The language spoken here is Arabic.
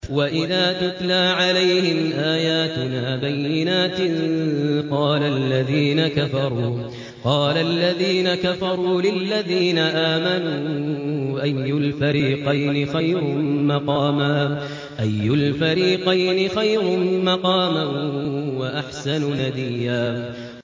وَإِذَا تُتْلَىٰ عَلَيْهِمْ آيَاتُنَا بَيِّنَاتٍ قَالَ الَّذِينَ كَفَرُوا لِلَّذِينَ آمَنُوا أَيُّ الْفَرِيقَيْنِ خَيْرٌ مَّقَامًا وَأَحْسَنُ نَدِيًّا